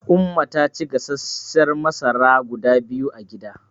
Umma ta ci gasasshiyar masara guda biyu a gida.